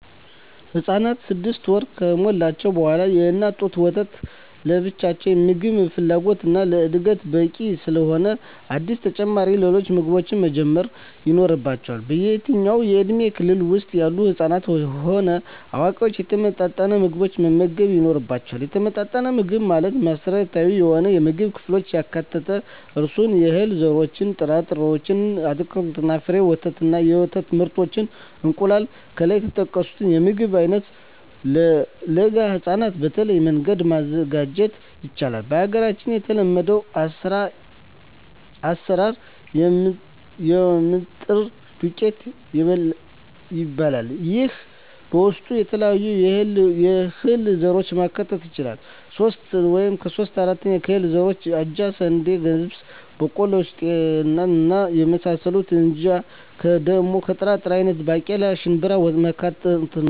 ህፃናት ስድስት ወር ከሞላቸዉ በኋላ የእናት ጡት ወተት ለብቻዉ የምግብ ፍላጎታቸዉን እና ለእድገታቸዉ በቂ ስላልሆነ አዲስ ተጨማሪ ሌሎች ምግቦችን መጀመር ይኖሮባቸዋል በየትኛዉም የእድሜ ክልል ዉስጥ ያሉ ህፃናትም ሆነ አዋቂዎች የተመጣጠነ ምግብ መመገብ ይኖርባየዋል የተመጣጠነ ምግብ ማለት መሰረታዊ የሆኑየምግብ ክፍሎችን ያካትታል እነርሱም - የእህል ዘሮችእና ጥራጥሬዎች - አትክልትና ፍራፍሬ - ወተት እና የወተት ምርቶች - እንቁላል ከላይ የተጠቀሱትን የምግብ አይነቶች ለለጋ ህፃናት በተለየ መንገድ ማዘጋጀት ይቻላል በሀገራችን የተለመደዉ አሰራር የምጥን ዱቄት ይባላል ይሄም በዉስጡ የተለያዩ የእህል ዘሮችን ማካተት ይቻላል ሶስት እጂ (3/4) ከእህል ዘሮች አጃ፣ ስንዴ፣ ገብስ፣ ቦቆሎማሽላ፣ ጤፍ እና የመሳሰሉት አንድ እጂ(1/4)ደሞ ከጥራጥሬ አይነቶች ባቄላ፣ ሽንብራማካተት ነዉ